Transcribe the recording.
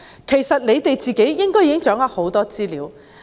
其實政府應已掌握很多資料。